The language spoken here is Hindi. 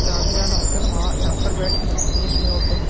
जहाँ भी जाना होता है ना वहाँ यहाँ बैठ कर जाते हैं इसमें ऑटो में |